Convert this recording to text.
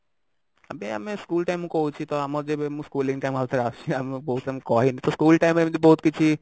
ଏବେ ଆମେ school time କହୁଛି ତ ଆମର ଯେବେ ମୋ schooling time ଆଉ ଥରେ ଆସିବ ଆମେ କହୁଥିଲେ ତ ମୁଁ କହିଲି ତ school time ରେ ଏମିତି ବହୁତ କିଛି